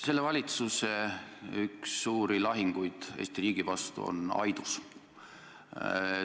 Selle valitsuse üks suuri lahinguid Eesti riigi vastu on Aidus.